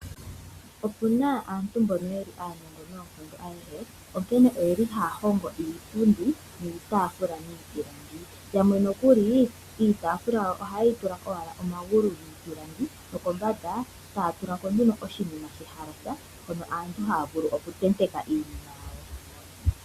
Opuna aantu mbono yeli aanongo noonkondo onkene oye li haa hongo iipundi niitaafula miipilangi, yamwe nokuli iitaafula yawo oha yeyi tula omagulu giipilangi nokombanda taa tulako nduno oshinima shehalasa hono aantu haavulu okutenteka iinima yawo.